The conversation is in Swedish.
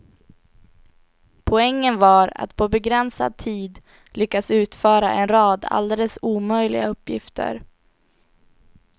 Poängen var att på begränsad tid lyckas utföra en rad alldeles omöjliga uppgifter.